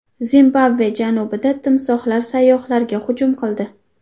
Zimbabve janubida timsohlar sayyohlarga hujum qildi.